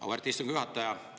Auväärt istungi juhataja!